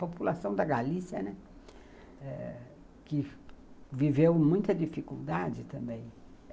População da Galícia, né, que viveu muita dificuldade também.